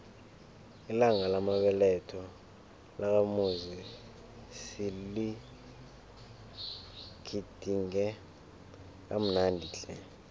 ilanga lamabeletho lakamuzi siligidinge kamnandi tle